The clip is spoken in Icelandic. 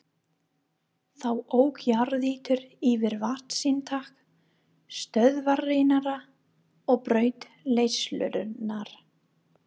Þá ók jarðýta yfir vatnsinntak stöðvarinnar og braut leiðslurnar.